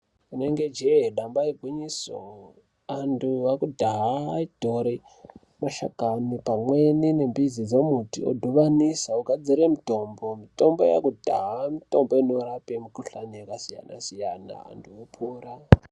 Rinenge jee ndamba igwinyiso. Antu akudhaya aitore mashakani pamweni nemidzi dzemuti vodhibanisa vogadzire mitombo, mitombo yekudhaya mitombo inorape mukhuhlani yakasiyana siyana vantu vopora.